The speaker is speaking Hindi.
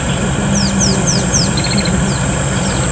इस दुकान में हमे लगभग हर चीज दिख सकती है।